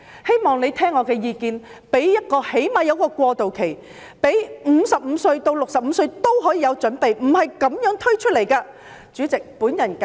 希望政府聽取我的意見，最少給予一個過渡期，讓55至65歲的人可以有所準備，而不是立即推行。